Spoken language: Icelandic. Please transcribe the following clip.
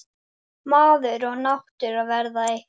Tvennt man ég best.